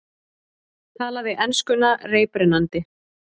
Talaði enskuna reiprennandi.